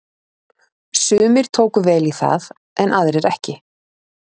Sumir tóku vel í það en aðrir ekki.